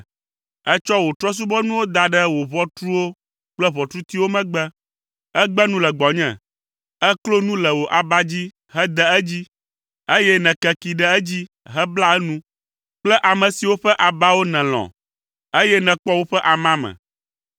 Ètsɔ wò trɔ̃subɔnuwo da ɖe wò ʋɔtruwo kple ʋɔtrutiwo megbe. Ègbe nu le gbɔnye. Èklo nu le wò aba dzi hede edzi, eye nèkekee ɖe edzi hebla enu kple ame siwo ƒe abawo nèlɔ̃, eye nèkpɔ woƒe amame.